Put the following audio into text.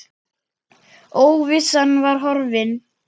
Óvissan var horfin.